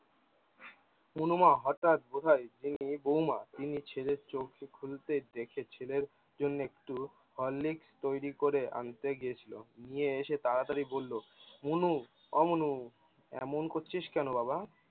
অনুমা হটাত বোধায় বৌমা নিজের ছেলের চোখ খুলতে দেখে ছেলের জন্যে একটু Horlicks তৈরি করে আনতে গেছিল। গিয়ে এসে তাড়াতাড়ি বললো, মনু ও মনু এমন করছিস কেন বাবা?